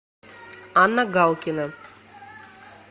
анна галкина